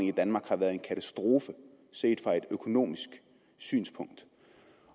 i danmark har været en katastrofe set fra et økonomisk synspunkt